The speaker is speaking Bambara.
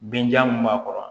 Binja min b'a kɔrɔ